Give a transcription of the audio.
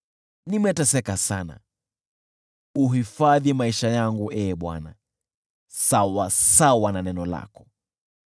Nimeteseka sana, uhifadhi maisha yangu, Ee Bwana , sawasawa na neno lako.